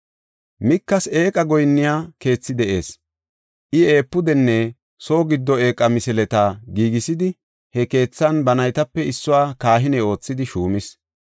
Mikas eeqa goyinniya keethi de7ees. I efuudenne soo giddo eeqa misileta giigisidi, he keethan ba naytape issuwa kahine oothidi shuumis.